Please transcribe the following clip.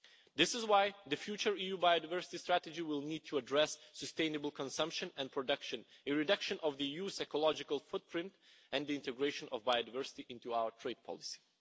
This is why the future EU biodiversity strategy will need to address sustainable consumption and production, a reduction of the EU's ecological footprint and the integration of biodiversity into our trade policy.